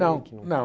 Não, não.